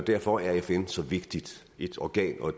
derfor er fn så vigtigt et organ og